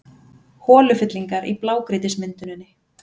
Holufyllingar í blágrýtismynduninni